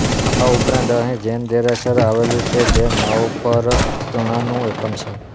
આ ઉપરાંત અહીં જૈન દેરાસર આવેલું છે જે નવપરગણાનું એકમ છે